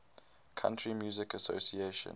country music association